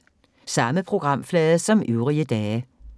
Samme programflade som øvrige dage